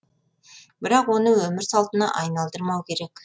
бірақ оны өмір салтына айналдырмау керек